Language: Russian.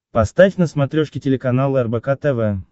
поставь на смотрешке телеканал рбк тв